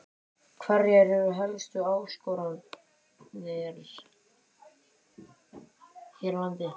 Hverjar eru helstu áskoranirnar hér á landi?